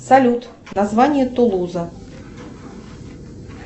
салют название тулуза